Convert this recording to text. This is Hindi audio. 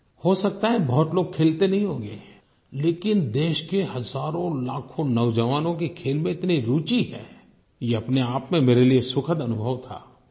हो सकता है बहुत लोग खेलते नहीं होंगे लेकिन देश के हज़ारोंलाखों नौजवानों की खेल में इतनी रूचि है ये अपनेआप में मेरे लिए सुखद अनुभव था